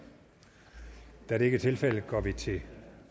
da det ikke er tilfældet går vi til